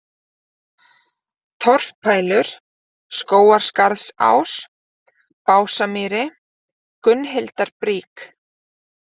Torfpælur, Skógarskarðsás, Básamýri, Gunnhildarbrík